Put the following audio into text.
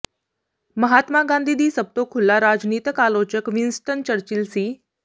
ਮਹਾਤਮਾ ਗਾਂਧੀ ਦੀ ਸਭ ਤੋਂ ਖੁੱਲਾ ਰਾਜਨੀਤਕ ਆਲੋਚਕ ਵਿੰਸਟਨ ਚਰਚਿਲ ਸੀ